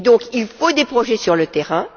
Il faut des projets sur le terrain.